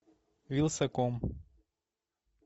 вилсаком